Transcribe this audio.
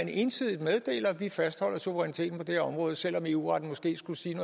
ensidigt meddeler at vi fastholder suveræniteten på det her område selv om eu retten måske skulle sige